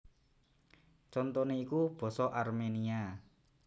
Contoné iku basa Arménia